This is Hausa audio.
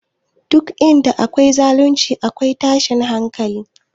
Duk inda akwai zalunci, akwai tashin hankali